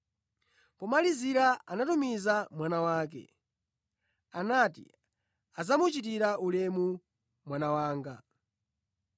Pomalizira anatumiza mwana wake. Anati adzamuchitira ulemu mwana wanga.